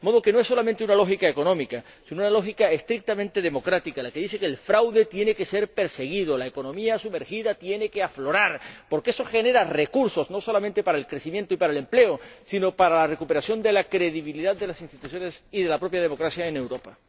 De modo que no es solamente una lógica económica sino una lógica estrictamente democrática la que dice que el fraude tiene que ser perseguido y la economía sumergida tiene que aflorar, porque eso genera recursos no solamente para el crecimiento y para el empleo sino para la recuperación de la credibilidad de las instituciones y de la propia democracia en Europa.